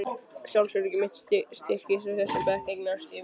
Sjálfsöryggi mitt styrktist og í þessum bekk eignaðist ég vinkonur.